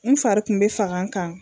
N fari kun be faga n kan